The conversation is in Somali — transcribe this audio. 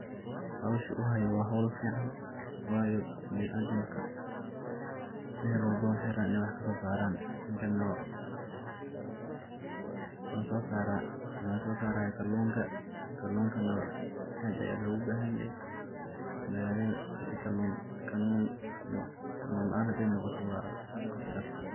Hoshu uu hayo wa hol fican wayo binaadamka melwalbo maxay raban inay wax kasosaran, ninkan nah muxu sosaraya kalunka, kalunka nah ad aya logu bahanyahy magalada hadi kalun laan noqoto wa casaro.